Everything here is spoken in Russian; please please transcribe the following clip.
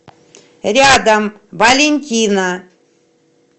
рядом валентина